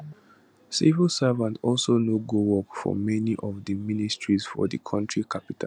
civil servants also no go work for many of di ministries for di contri capital